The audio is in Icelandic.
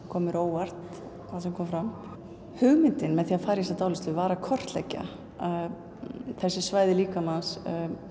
kom mér á óvart það sem kom fram hugmyndin með því að fara í þessa dáleiðslu var að kortleggja þessi svæði líkamans